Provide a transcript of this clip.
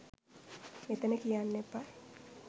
මෙතන කියන්න එපා.